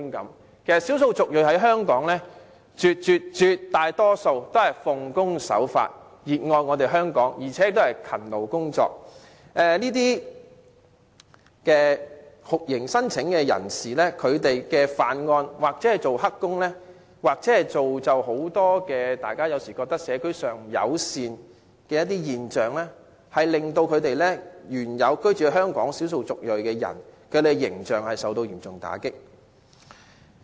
其實，在港的少數族裔人士絕大多數都奉公守法、熱愛香港、勤勞工作，但因酷刑聲請者犯案、做"黑工"而製造很多社區不友善的現象，令本來居住在香港的少數族裔人士的形象受到嚴重打擊。